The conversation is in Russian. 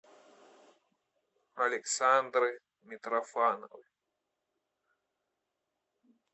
александры митрофановой